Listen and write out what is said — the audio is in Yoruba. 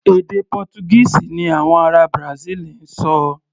Èdè Pọ́túgíìsì ni àwọn ará Brasil ń sọ.